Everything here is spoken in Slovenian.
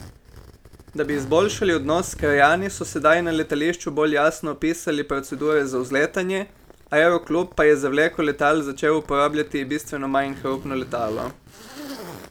Da bi izboljšali odnos s krajani, so sedaj na letališču bolj jasno opisali procedure za vzletanje, aeroklub pa je za vleko letal začel uporabljati bistveno manj hrupno letalo.